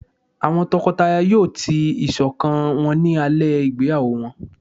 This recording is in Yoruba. awọn tọkọtaya yóò tii iṣọkan wọn ni alẹ igbeyawo wọn